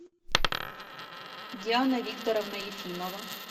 диана викторовна ефимова